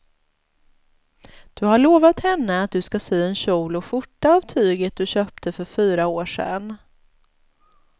Du har lovat henne att du ska sy en kjol och skjorta av tyget du köpte för fyra år sedan.